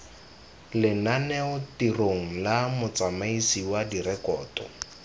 lenanetirong la motsamaisi wa direkoto